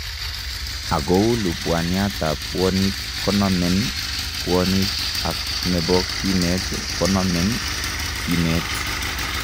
Akouu lubaniat ab bwonik konomen bwonik ak nebo kiynet konomen kiinet